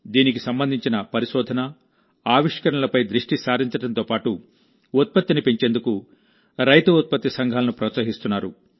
దీనికి సంబంధించిన పరిశోధన ఆవిష్కరణలపై దృష్టి సారించడంతో పాటుఉత్పత్తిని పెంచేందుకు రైతు ఉత్పత్తి సంఘాలను ప్రోత్సహిస్తున్నారు